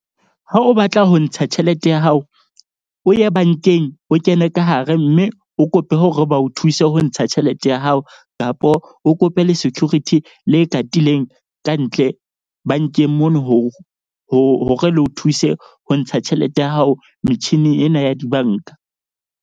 Ha o batla ho ntsha tjhelete ya hao, o ye bank-eng o kene ka hare. Mme o kope hore ba o thuse ho ntsha tjhelete ya hao kapo o kope le security le katileng kantle bank-eng mono hore le o thuse ho ntsha tjhelete ya hao. Metjhini ena ya di-bank-a.